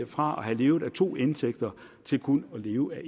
fra at have levet af to indtægter til kun at leve